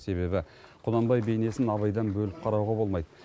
себебі құнанбай бейнесін абайдан бөліп қарауға болмайды